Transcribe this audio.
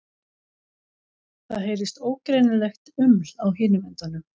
Það heyrist ógreinilegt uml á hinum endanum.